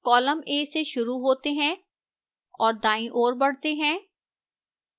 columns a से शुरू होते हैं और दाईं ओर बढ़ते हैं